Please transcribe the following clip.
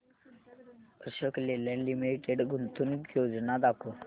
Ashok Leyland limited गुंतवणूक योजना दाखव